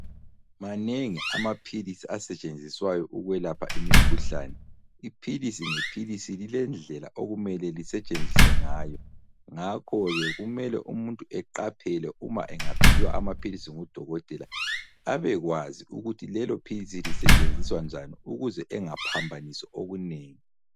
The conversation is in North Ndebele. Manengi amaphilisi asetshenziswayo ukwelapha imikhuhlane. Iphilisi ngephilisi lilendlela okumele lisetshenziswe ngayo. Ngakho ke kumele umuntu eqaphele uma engaphiwa amaphilisi ngudokotela abekwazi ukuthi lelophilisi lisetshenziswa njani ukuze engaphambanisi okunengi.